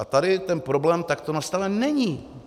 A tady ten problém takto nastaven není.